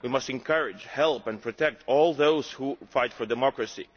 We must encourage, help and protect all those who fight for democracy.